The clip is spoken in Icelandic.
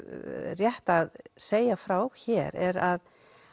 rétt að segja frá hér er að